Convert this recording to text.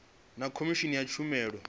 na khomishini ya tshumelo ya